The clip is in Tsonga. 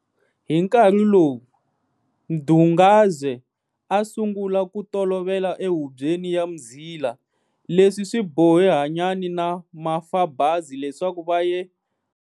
Hi nkarhi lowu, Mdungazwe a a sungula ku tolovela ehubyeni ya Mzila. Leswi swi bohe Hanyani na Mafabazi leswaku va ye.